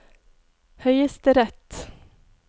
høyesterett